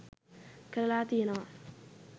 කරලා තියෙනවා.